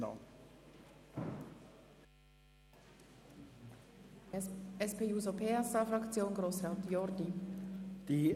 Für die SP-JUSO-PSA-Fraktion hat Grossrat Jordi das Wort.